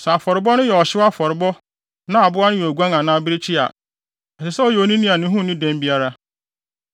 “ ‘Sɛ afɔrebɔ no yɛ ɔhyew afɔre na aboa no yɛ oguan anaa abirekyi a, ɛsɛ sɛ ɔyɛ onini a ne ho nni dɛm biara.